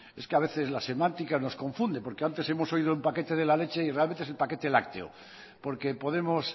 es que a veces la semántica nos confunde porque antes hemos oído el paquete de la leche y realmente es el paquete lácteo porque podemos